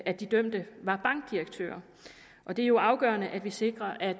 at de dømte var bankdirektører det er jo afgørende at vi sikrer at